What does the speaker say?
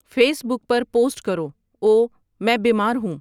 face بک پر post کرو اوو میں بیمار ہوں